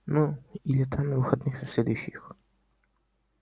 ну или там на выходных на следующих